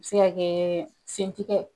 Bɛ se ka kɛ sen tigɛ